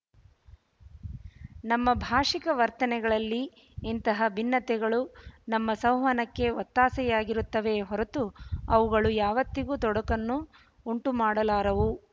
ನಮ್ಮ ಭಾಶಿಕ ವರ್ತನೆಗಳಲ್ಲಿ ಇಂತಹ ಭಿನ್ನತೆಗಳು ನಮ್ಮ ಸಂವಹನಕ್ಕೆ ಒತ್ತಾಸೆಯಾಗಿರುತ್ತವೆಯೇ ಹೊರತು ಅವುಗಳು ಯಾವತ್ತಿಗೂ ತೊಡಕನ್ನು ಉಂಟು ಮಾಡಲಾರವು